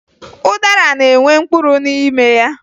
Ụdara na-enwe mkpụrụ n'ime ya